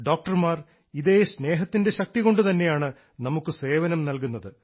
ഡോക്ടർമാർ ഇതേ സ്നേഹത്തിൻറെ ശക്തികൊണ്ടു തന്നെയാണ് നമുക്ക് സേവനം നൽകുന്നത്